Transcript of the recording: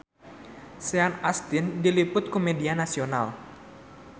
Sean Astin diliput ku media nasional